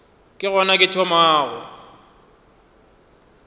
ke gona ke thomago go